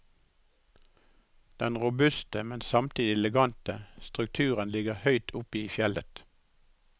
Den robuste, men samtidig elegante, strukturen ligger høyt oppe i fjellet.